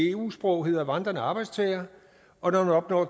eu sprog hedder vandrende arbejdstager og når man opnår